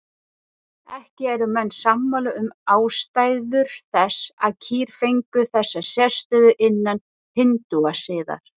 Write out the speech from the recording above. Ekki eru menn sammála um ástæður þess að kýr fengu þessa sérstöðu innan hindúasiðar.